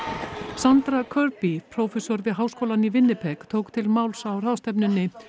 Sandra prófessor við háskólann í tók til máls á ráðstefnunni